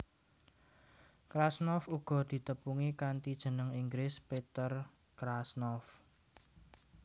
Krasnov uga ditepungi kanthi jeneng Inggris Peter Krasnov